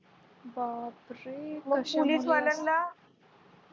बापरे कशा मुली असतात